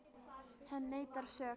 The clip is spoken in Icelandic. Hann neitar sök.